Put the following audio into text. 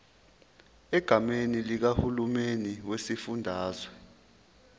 egameni likahulumeni wesifundazwe